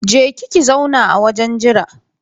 Je ki ki zauna a wajen jira